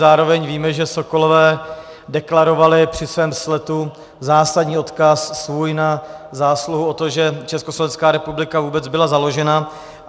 Zároveň víme, že sokolové deklarovali při svém sletu zásadní odkaz svůj a zásluhu o to, že Československá republika vůbec byla založena.